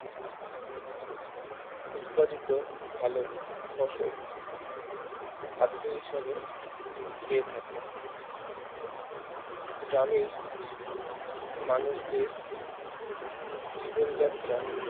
উৎপাদিত ভালো ফসল খাদ্য হিসাবে খেয়ে থাকে গ্রামের মানুষদের জীবনযাত্রা